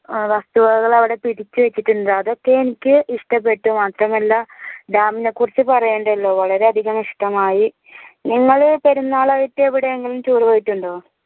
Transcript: വസ്തുവകകൾ അവടെ പിടിച്ചു വെച്ചിട്ടുണ്ട് അതൊക്കെ എനിക്ക് ഇഷ്ടപ്പെട്ടു മാത്രമല്ല dam നെ കുറിച്ച് പറയണ്ടല്ലോ വളരെയധികം ഇഷ്ടമായി നിങ്ങള് പെരുന്നാളായിട്ട് എവിടെങ്കിലും പോയിട്ടുണ്ടോ